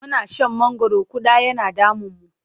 Muna san mangwaro ƙuda yana damunmu.